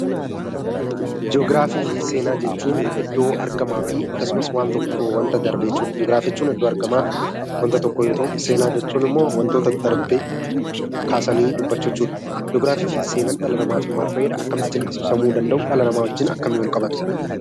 Ji'ogiraafii fi seenaa jechuun iddoo argamaa fi akkasumas waan tokko, waanta darbe jechuudha. Ji'ogiraafii jechuun iddoo argama waanta tokkoo yoo ta'u, seenaa jechuun ammoo wantoota darbee kaasanii dubbachuu jechuudha. Ji'ogiraafii fi seenaan dhala namaatiif maal fayyada? Akkamittis ibsamuu danda'u? Dhala namaa wajjinis akkamiin wal qabatu?